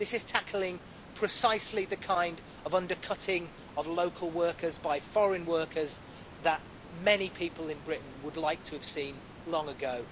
This is tackling precisely the kind of undercutting of local workers by foreign workers that many people in Britain would like to have seen long ago.